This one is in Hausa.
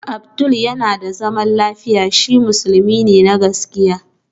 Abdul yana da zaman lafiya, shi musulmi ne na gaskiya